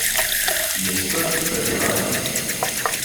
Je skrb preuranjena?